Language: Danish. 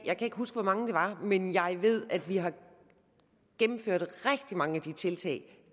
jeg kan ikke huske hvor mange det var men jeg ved at vi har gennemført rigtig mange af de tiltag